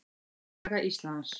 Saga Íslands.